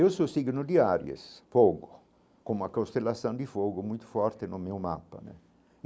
Eu sou signo de áries, fogo, com uma constelação de fogo muito forte no meu mapa né.